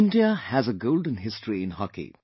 India has a golden history in Hockey